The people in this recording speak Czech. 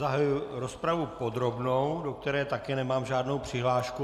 Zahajuji rozpravu podrobnou, do které také nemám žádnou přihlášku.